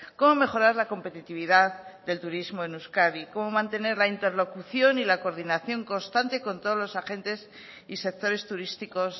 cómo mejorar la competitividad del turismo en euskadi cómo mantener la interlocución y la coordinación constante con todos los agentes y sectores turísticos